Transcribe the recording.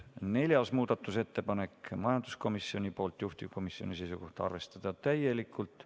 4. muudatusettepanek, majanduskomisjoni poolt, juhtivkomisjoni seisukoht on arvestada täielikult.